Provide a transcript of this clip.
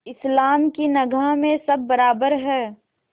इस्लाम की निगाह में सब बराबर हैं